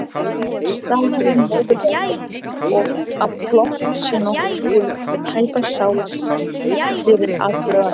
Staðhæfir móðurleg að plott sé nokkuð sem tæpast sjáist fyrir í atburðarás.